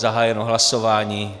Zahájeno hlasování.